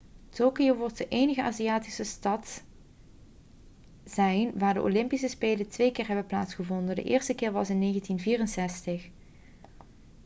tokio wordt de enige aziatische stad zijn waar de olympische spelen twee keer hebben plaatsgevonden de eerste keer was in 1964